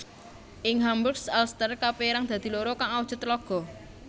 Ing Hamburg Alster kapérang dadi loro kang awujud tlaga